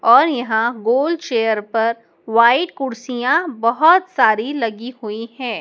और यहाँ गोल चेयर पर वाइट कुर्सियाँ बहुत सारी लगी हुई है।